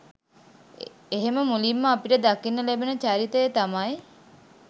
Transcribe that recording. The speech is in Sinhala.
එහෙම මුලින්ම අපිට දකින්න ලැබෙන චරිතය තමයි